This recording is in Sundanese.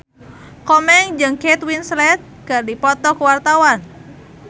Komeng jeung Kate Winslet keur dipoto ku wartawan